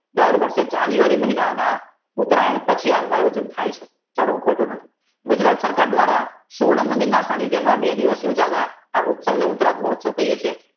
દર વર્ષે જાન્યુઆરી મહિનામાં ઉતરાયણ પછી આનું આયોજન થાય છે ફલં પડતું નથી ગુજરાત સરકાર દ્વારા સુવર્ણ મંદિર ના બે દિવસ ઉજવયય આ ઉત્સવ ને ઉતરાગ મહોત્સવ કહીયે છીએ